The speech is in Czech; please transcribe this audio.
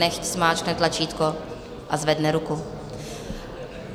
Nechť zmáčkne tlačítko a zvedne ruku.